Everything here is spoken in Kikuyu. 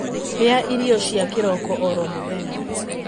Rĩa irio cia kĩroko oro mũthenya